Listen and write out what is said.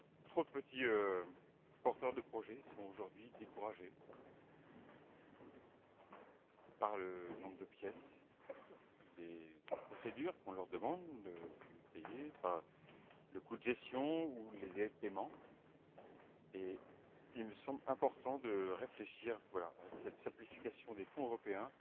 Trop de petits porteurs de projets sont aujourd'hui découragés par le nombre de pièces, par les procédures qu'on leur demande de payer, par le coût de gestion ou les délais de paiement, et il me semble important de réfléchir à cette simplification des Fonds européens